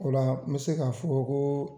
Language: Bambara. O la n bɛ se ka fɔ ko